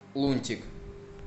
лунтик